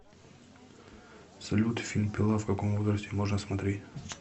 салют фильм пила в каком возрасте можно смотреть